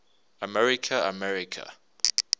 america america